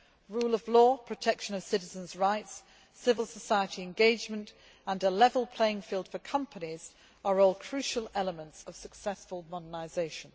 Rule of law, protection of citizens' rights, civil society engagement, and a level playing field for companies are all crucial elements of successful modernisation.